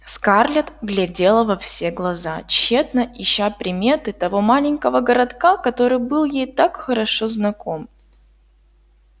скарлетт глядела во все глаза тщетно ища приметы того маленького городка который был ей так хорошо знаком